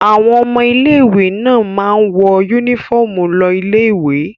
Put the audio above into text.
Àwọn ọmọ ilé-ìwé náà máa ń wọ únífọ́ọ́mù lọ ilé-ìwé.